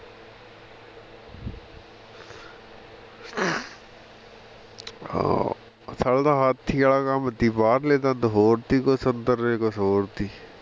ਆਹੋ ਸਾਲੇ ਦਾ ਹਾਥੀ ਵਾਲਾ ਕੰਮ ਸੀ ਬਾਹਰਲੇ ਦੰਦ ਹੋਰ ਸੀ ਕੁੱਛ ਅੰਦਰਲੇ ਕੁੱਛ ਹੋਰ ਸੀ